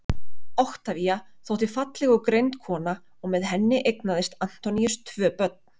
Oktavía þótti falleg og greind kona og með henni eignaðist Antoníus tvö börn.